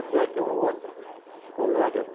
Até que um outro colega de...